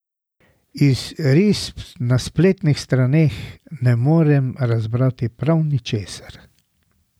Iz risb na spletnih straneh ne morem razbrati prav ničesar.